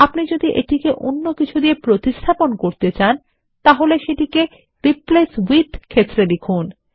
আপনি যদি এটিকে অন্য কিছু দিয়ে প্রতিস্থাপন করতে চান তাহলে সেটিকে রিপ্লেস উইথ ক্ষেত্রে লিখুন